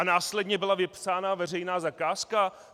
A následně byla vypsána veřejná zakázka?